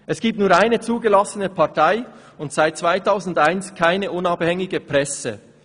Es gibt nur eine zugelassene Partei und seit 2001 keine unabhängige Presse.